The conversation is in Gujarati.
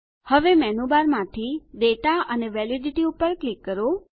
હવે મેનુબારમાંથી દાતા અને વેલિડિટી પર ક્લિક કરો